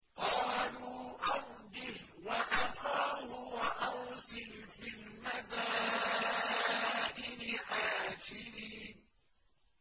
قَالُوا أَرْجِهْ وَأَخَاهُ وَأَرْسِلْ فِي الْمَدَائِنِ حَاشِرِينَ